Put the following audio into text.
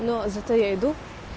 но зато я иду